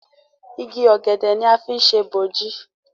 Ìgi ògèdè ní a fi ṣe boji.